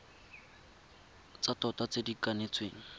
tsa tota tse di kanetsweng